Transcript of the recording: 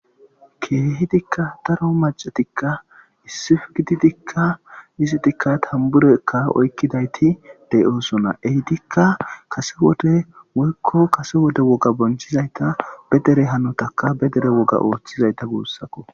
Keehidikka daro maccatikka issippe gididikka izitika tamburakka oykkidayti de7oosona. Eetikka kase wode woykko kase wode wogga bonchchizata be dere hanota be dere hanotakka ootizayta guusakko.